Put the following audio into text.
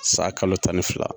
San kalo tan ni fila.